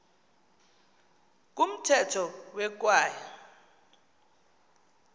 kumthetho we kwaye